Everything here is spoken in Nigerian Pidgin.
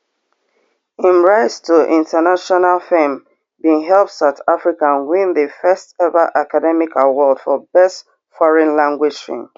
im rise to international fame bin help south africa win di first ever academy award for best foreign language film